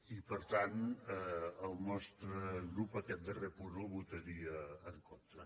i per tant el nostre grup aquest darrer punt el votaria en contra